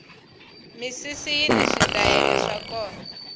misisi yini switayele swa kona